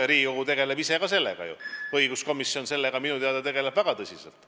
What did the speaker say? Ja Riigikogu ju tegeleb ise ka selle teemaga – õiguskomisjon tegeleb sellega minu teada väga tõsiselt.